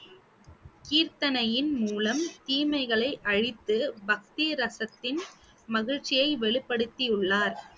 கீர்த்தனையின் மூலம் தீமைகளை அழித்து பக்தி ரசத்தின் மகிழ்ச்சியை வெளிப்படுத்தியுள்ளார்